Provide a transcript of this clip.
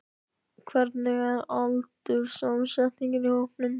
Hvernig er aldurssamsetningin í hópnum?